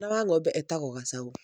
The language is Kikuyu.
Mwana wa ng'ombe etagwo gacaũ.